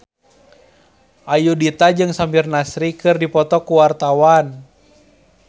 Ayudhita jeung Samir Nasri keur dipoto ku wartawan